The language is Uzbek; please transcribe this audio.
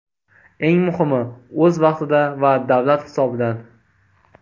Eng muhimi, o‘z vaqtida va davlat hisobidan.